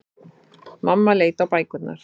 Mamman leit á bækurnar.